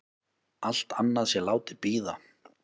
Allt annað sé látið bíða.